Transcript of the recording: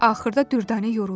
Axırda Düvdanə yoruldu.